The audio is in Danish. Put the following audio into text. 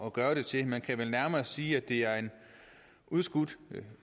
at gøre det til man kan vel nærmere sige at det er en udskudt